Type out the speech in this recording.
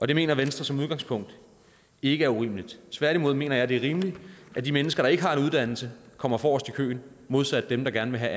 det mener venstre som udgangspunkt ikke er urimeligt tværtimod mener jeg det er rimeligt at de mennesker der ikke har en uddannelse kommer forrest i køen modsat dem der gerne vil have